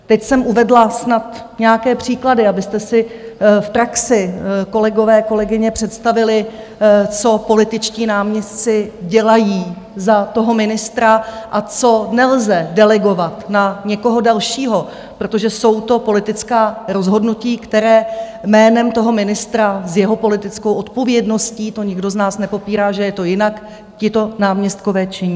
Teď jsem uvedla snad nějaké příklady, abyste si v praxi, kolegové, kolegyně, představili, co političtí náměstci dělají za toho ministra a co nelze delegovat na někoho dalšího, protože jsou to politická rozhodnutí, která jménem toho ministra s jeho politickou odpovědností, to nikdo z nás nepopírá, že je to jinak, tito náměstkové činí.